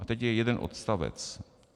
A teď je jeden odstavec.